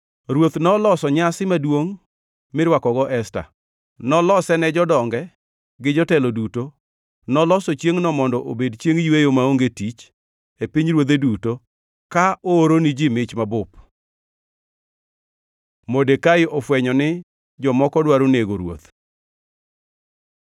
Ruoth noloso nyasi maduongʼ mirwakogo Esta, nolose ne jodonge gi jotelo duto, noloso chiengʼno mondo obed chiengʼ yweyo maonge tich e pinyruodhe duto ka ooro ni ji mich mabup. Modekai ofwenyo ni jomoko dwaro nego ruoth